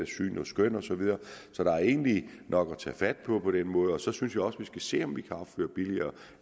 syn og skøn og så videre så der er egentlig nok at tage fat på på den måde så synes jeg også at vi skal se om vi kan opføre billigere